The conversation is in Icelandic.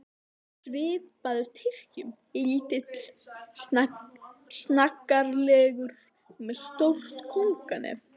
Dálítið svipaður Tyrkjum, lítill og snaggaralegur, með stórt kónganef.